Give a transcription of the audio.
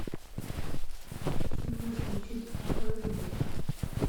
можешь включить а как же боб